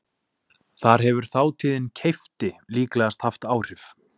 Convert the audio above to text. Þar hefur þátíðin keypti líklegast haft áhrif.